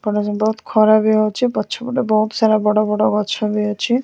ବହୁତ୍ ଖରା ବି ହଉଚି ପଛପଟେ ବହୁତସାରା ବଡ଼ବଡ଼ ଗଛ ବି ଅଛି।